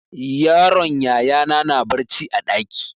Yaron yaya na na barci a ɗaki.